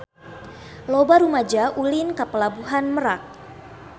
Loba rumaja ulin ka Pelabuhan Merak